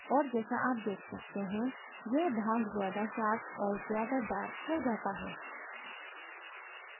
और जैसा आप देख सकते हैं यह भाग ज़्यादा sharper और ज़्यादा darker हो जाता है